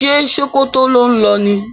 Ṣe Sokoto ló ń lo ni?